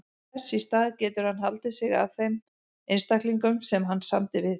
Þess í stað getur hann haldið sig að þeim einstaklingum sem hann samdi við.